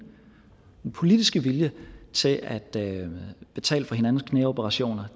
politiske vilje til at betale for hinandens knæoperationer